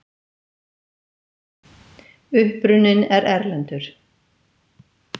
Uppruninn er erlendur.